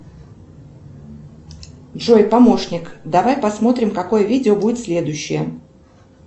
джой помощник давай посмотрим какое видео будет следующее